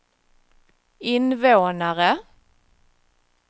invånare